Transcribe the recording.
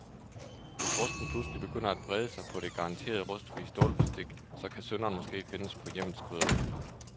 Hvis rusten pludselig begynder at brede sig på det garanteret rustfrie stålbestik, så kan synderen måske findes på hjemmets krydderihylde.